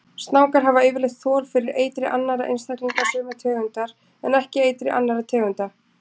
Snákar hafa yfirleitt þol fyrir eitri annarra einstaklinga sömu tegundar en ekki eitri annarra tegunda.